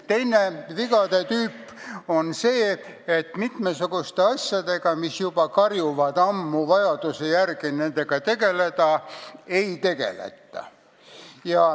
Teine vigade tüüp on see, et mitmesuguste asjadega, mis juba ammu karjuvad nendega tegelemise vajaduse järele, ei tegeleta.